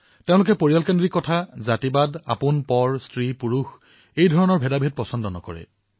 তেওঁলোকে পৰিয়ালবাদ জাতিবাদ আপোনপৰ স্ত্ৰীপুৰুষ এই ভেদভাৱসমূহ পচন্দ নকৰে